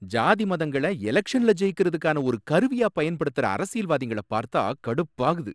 ஜாதி மதங்கள எலக்ஷன்ல ஜெயிக்கிறதுக்கான ஒரு கருவியா பயன்படுத்துற அரசியல்வாதிங்கள பார்த்தா கடுப்பாகுது.